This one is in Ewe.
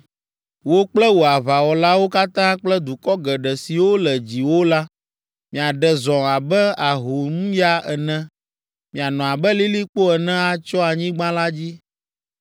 Wò kple wò aʋawɔlawo katã kple dukɔ geɖe siwo le dziwò la, miaɖe zɔ abe ahomya ene; mianɔ abe lilikpo ene atsyɔ anyigba la dzi.”